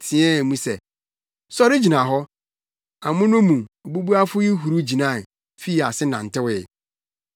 teɛɛ mu se, “Sɔre gyina hɔ!” Amono mu, obubuafo yi huruw gyinae, fii ase nantewee.